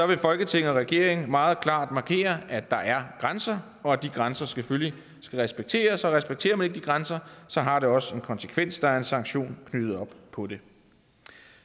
vil folketinget og regeringen meget klart markere at der er grænser og at de grænser selvfølgelig skal respekteres og respekterer man ikke de grænser har det også en konsekvens der er en sanktion knyttet op på det